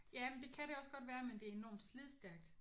Ja men det kan det også godt være men det er enormt slidstærkt